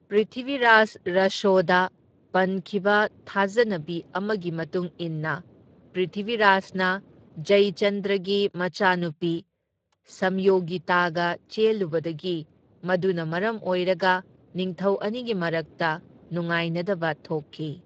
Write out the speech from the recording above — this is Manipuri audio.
ꯄ꯭ꯔꯤꯊꯤꯚꯤꯔꯥꯖ ꯔꯥꯁꯣꯗ ꯄꯟꯈꯤꯕ ꯊꯥꯖꯅꯕꯤ ꯑꯃꯒꯤ ꯃꯇꯨꯡ ꯏꯟꯅ ꯄ꯭ꯔꯤꯊꯤꯚꯤꯔꯥꯖꯅ ꯖꯌꯆꯟꯗ꯭ꯔꯒꯤ ꯃꯆꯥꯅꯨꯄꯤ ꯁꯝꯌꯣꯒꯤꯇꯥꯒ ꯆꯦꯜꯂꯨꯕꯗꯒꯤ, ꯃꯗꯨꯅ ꯃꯔꯝ ꯑꯣꯏꯔꯒ ꯅꯤꯡꯊꯧ ꯑꯅꯤꯒꯤ ꯃꯔꯛꯇ ꯅꯨꯡꯉꯥꯏꯅꯗꯕ ꯊꯣꯛꯈꯤ꯫